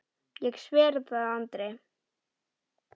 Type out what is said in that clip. Ég sver það Andri.